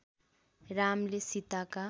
रामले सीताका